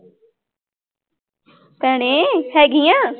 ਭੈਣੇ ਹੈਗੀ ਆਂ।